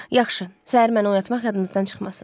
Yaxşı, səhər məni oyatmaq yadınızdan çıxmasın.